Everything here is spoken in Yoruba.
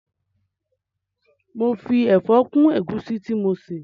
Mo fi ẹ̀fọ́ kún ẹ̀gúsí tí mo ṣè